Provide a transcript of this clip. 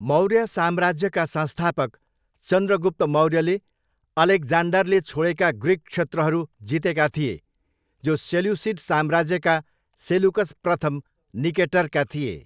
मौर्य साम्राज्यका संस्थापक चन्द्रगुप्त मौर्यले अलेक्जान्डरले छोडेका ग्रिक क्षत्रहरू जितेका थिए, जो सेल्युसिड साम्राज्यका सेलुकस प्रथम निकेटरका थिए।